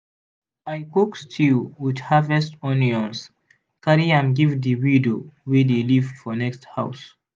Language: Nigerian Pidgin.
i cook stew with harvest onions carry am give the widow wey dey live for next house.